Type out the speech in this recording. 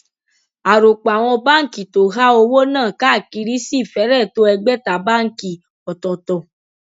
àròpọ àwọn báǹkì tó há owó náà káàkiri sì fẹrẹ tó ẹgbẹta báǹkì ọtọtọ